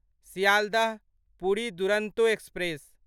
Sealdah Puri Duronto express